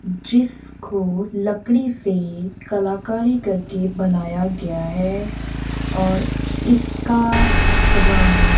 जिसको लकड़ी से कलाकारी करके बनाया गया है और इसका रंग--